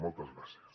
moltes gràcies